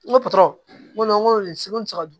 N ko patɔrɔn nko seko te se ka